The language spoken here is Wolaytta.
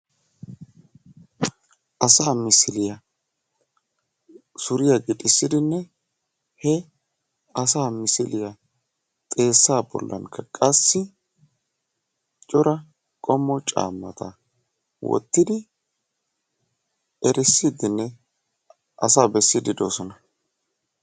Asaa misiliya suriyaa gixissidinne he asa bolan suriya gixissidinne qassi asaa erisiidi doosona.